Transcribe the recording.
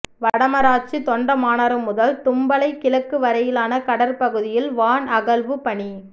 வடமராட்சி தொண்டமானாறு முதல் தும்பளை கிழக்கு வரையிலான கடற்பகுதியில் வான் அகழ்வுப் பணி